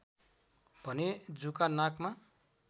भने जुका नाकमा